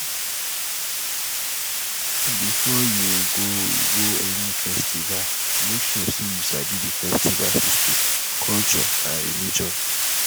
before you go you go any festival make sure say you sabi di festival history culture and religion